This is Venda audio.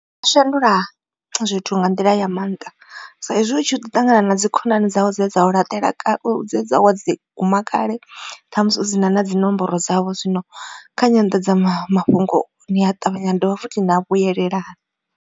Nga shandula zwithu nga nḓila ya maanḓa sa izwi u tshi ṱangana na dzi khonani dzau dze dza u laṱela dze dza wa dzi guma kale ṱhamusi u dzina na dzinomboro dzavho zwino kha nyandadzamafhungo ni a ṱavhanya na dovha futhi na vhuyelela.